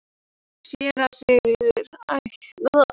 SÉRA SIGURÐUR: Æ, það er hann!